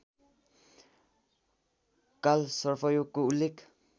कालसर्पयोगको उल्लेख